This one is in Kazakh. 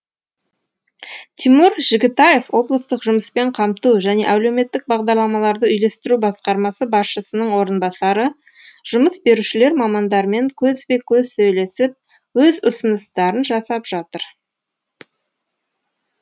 тимур жігітаев облыстық жұмыспен қамту және әлеуметтік бағдарламаларды үйлестіру басқармасы басшысының орынбасары жұмыс берушілер мамандармен көзбе көз сөйлесіп өз ұсыныстарын жасап жатыр